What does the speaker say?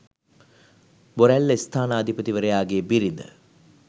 බොරැල්ල ස්ථානාධිපතිවරයාගේ බිරිඳ